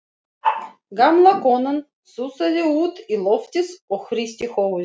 Gamla konan sussaði út í loftið og hristi höfuðið.